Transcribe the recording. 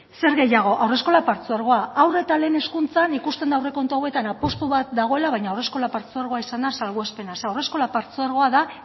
zer gehiago haurreskola partzuergoa haur eta lehen hezkuntzan ikusten da aurrekontu hauetan apustu bat dagoela baina haurreskola partzuergoa izan da salbuespena zeren haurreskola partzuergoa izan da